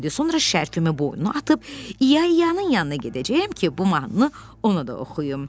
Sonra şərfimi boynuma atıb, İya-İyanın yanına gedəcəyəm ki, bu mahnını ona da oxuyum.